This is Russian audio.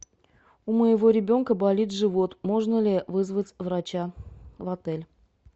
у моего ребенка болит живот можно ли вызвать врача в отель